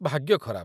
ଭାଗ୍ୟ ଖରାପ ।